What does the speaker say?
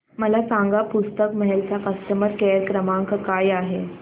मला सांगा पुस्तक महल चा कस्टमर केअर क्रमांक काय आहे